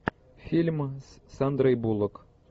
фильм с сандрой буллок